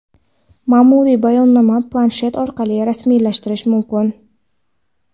Maʼmuriy bayonnoma planshet orqali rasmiylashtirilishi mumkin.